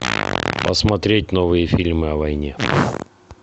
посмотреть новые фильмы о войне